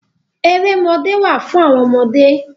Erémọdé wá fún àwọn ọmọdé.